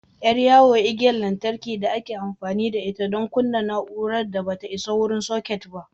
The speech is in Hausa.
Ƴar yawo igiyar lantarki da ake amfani da ita don kunna na'urar da ba ta isa wurin soket ba.